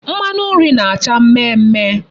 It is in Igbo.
Mmanu nri na-acha mme mme